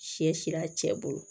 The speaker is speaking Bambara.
Sɛ si a cɛ bolo